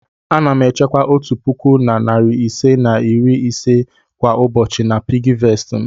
Ana m echekwa otu puku na narị ise na iri ise kwa ụbọchị na piggyvest m.